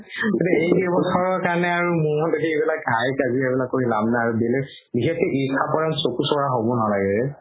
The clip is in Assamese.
এই কেইবছৰৰ কাৰণে হাই কাজিয়া কৰি লাভ নাই আৰু বেলেগকে ঈৰ্ষা কৰা চকু চৰহা হ'ব নালাগে ৰে